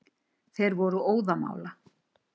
Þeir voru óðamála.